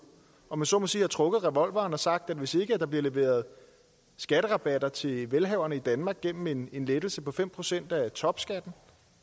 om jeg så må sige trukket revolveren og har sagt at hvis ikke der bliver leveret skatterabatter til velhaverne i danmark gennem en en lettelse på fem procent af topskatten